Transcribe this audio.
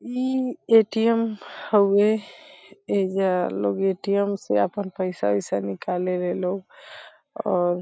ई ATM. हउवे । एजा लोग ए.टी.एम. से आपन पईसा-ओईसा निकाले ले लो और --